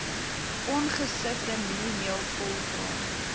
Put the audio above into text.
ongesifde mieliemeel volgraan